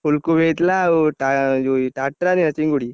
ଫୁଲକୋବି ହେଇଥିଲା ଆଉ ଟା~ ଯୋଉ ଚିଙ୍ଗୁଡି।